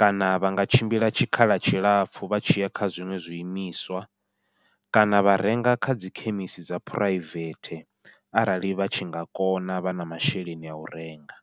kana vha nga tshimbila tshikhala tshilapfhu vha tshi ya kha zwiṅwe zwi imiswa kana vha renga kha dzi khemisi dza phuraivethe arali vha tshi nga kona vha na masheleni au renga.